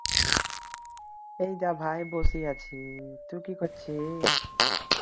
এইদা ভাই বসে আছি তু কি করছিস